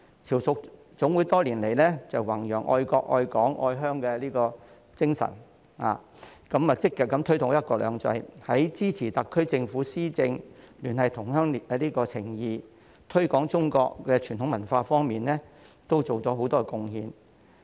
潮屬總會多年來弘揚"愛國愛港愛鄉"的精神，積極推動"一國兩制"，在支持特區政府施政、聯繫同鄉情誼、推廣中國傳統文化方面，都作出了很多貢獻。